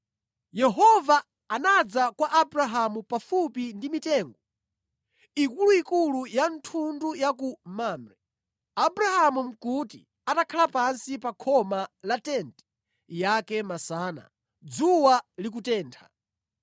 Yehova anadza kwa Abrahamu pafupi ndi mitengo ikuluikulu ya thundu ya ku Mamre. Abrahamu nʼkuti atakhala pansi pa khoma la tenti yake masana, dzuwa likutentha.